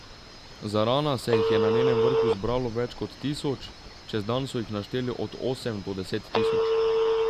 Zarana se jih je na njenem vrhu zbralo več kot tisoč, čez dan so jih našteli od osem do deset tisoč.